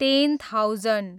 ten thousand